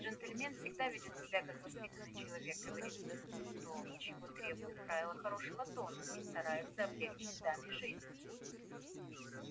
джентльмен всегда ведёт себя как воспитанный человек говорит то чего требуют правила хорошего тона и старается облегчить даме жизнь